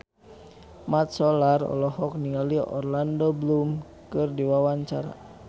Mat Solar olohok ningali Orlando Bloom keur diwawancara